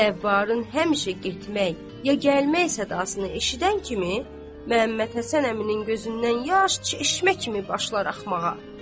Zəvvarın həmişə getmək, ya gəlmək sadasını eşidən kimi Məhəmməd Həsən əminin gözündən yaş çeşmə kimi başlar axmağa.